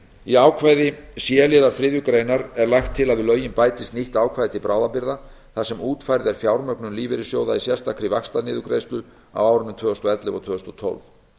í ákvæði c liðar þriðju grein er lagt til að við lögin bætist nýtt ákvæði til bráðabirgða þar sem útfærð er fjármögnun lífeyrissjóða í sérstakri vaxtaniðurgreiðslu á árunum tvö þúsund og ellefu og tvö þúsund og tólf